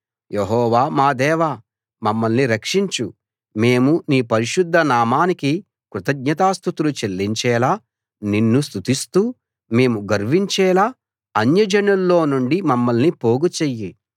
యెహోవా మా దేవా మమ్మల్ని రక్షించు మేము నీ పరిశుద్ధనామానికి కృతజ్ఞతాస్తుతులు చెల్లించేలా నిన్ను స్తుతిస్తూ మేము గర్వించేలా అన్యజనుల్లో నుండి మమ్మల్ని పోగుచెయ్యి